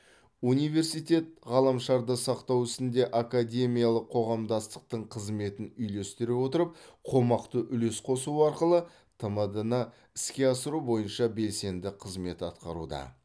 университет ғаламшарды сақтау ісінде академиялық қоғамдастықтың қызметін үйлестіре отырып қомақты үлес қосу арқылы тдм ны іске асыру бойынша белсенді қызмет атқаруда